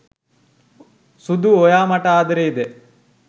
සුදු ඔයා මට ආදරේද